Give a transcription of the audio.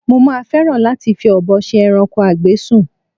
Mo máa fẹ́ràn láti fi ọ̀bọ ṣe ẹranko a gbé sùn